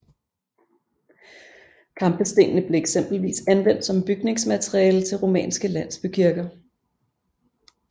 Kampestenene blev eksempelvis anvendt som bygningsmateriale til romanske landsbykirker